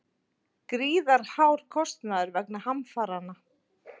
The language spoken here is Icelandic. Gríðarhár kostnaður vegna hamfaranna